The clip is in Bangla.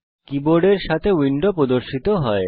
কীবোর্ডের সাথে উইন্ডো প্রদর্শিত হয়